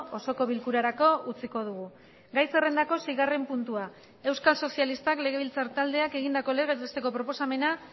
osoko bilkurarako utziko dugu gai zerrendako seigarren puntua euskal sozialistak legebiltzar taldeak egindako legez besteko proposamena